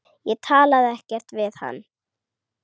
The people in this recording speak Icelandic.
Ég talaði ekkert við hann.